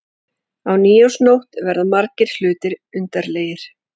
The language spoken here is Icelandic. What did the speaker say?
Á nýársnótt verða margir hlutir undarlegir.